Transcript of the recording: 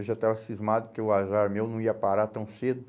Eu já estava cismado que o azar meu não ia parar tão cedo.